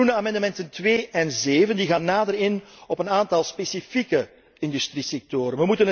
De groene amendementen 2 en 7 gaan nader in op een aantal specifieke industriesectoren.